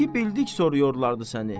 İki bildik soruyorlardı səni.